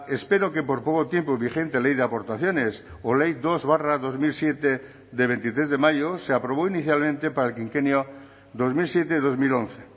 espero que por poco tiempo vigente ley de aportaciones o ley dos barra dos mil siete de veintitrés de mayo se aprobó inicialmente para el quinquenio dos mil siete dos mil once